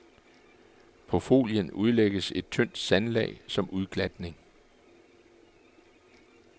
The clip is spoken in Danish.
På folien udlægges et tyndt sandlag som udglatning.